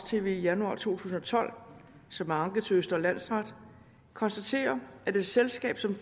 tv i januar to tusind og tolv som er anket til østre landsret konstatere at et selskab som